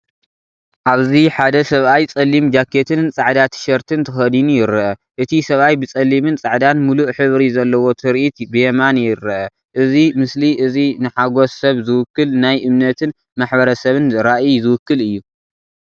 ኣብዚ ሓደ ሰብኣይ ጸሊም ጃኬትን ጻዕዳ ቲሸርትን ተኸዲኑ ይርአ። እቲ ሰብኣይ ብጸሊምን ጻዕዳን ምሉእ ሕብሪ ዘለዎ ትርኢት ብየማን ይርአ። እዚ ምስሊ እዚ ንሓጐስ ሰብ ዝውክል ናይ እምነትን ማሕበረሰብን ራእይ ዝውክል እዩ።